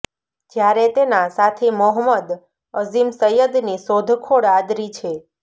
જ્યારે તેના સાથી મોહમંદ અજીમ સૈયદની શોધખોળ આદરી છે